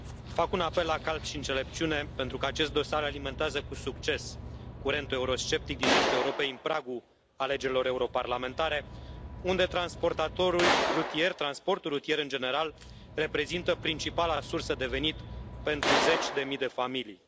Fac un apel la calm și înțelepciune, pentru că acest dosar alimentează cu succes curentul eurosceptic din estul Europei în pragul alegerilor europarlamentare, unde transportul rutier, în general, reprezintă principala sursă de venit pentru zeci de mii de familii.